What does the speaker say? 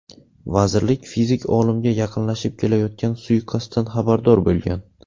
Vazirlik fizik olimga yaqinlashib kelayotgan suiqasddan xabardor bo‘lgan.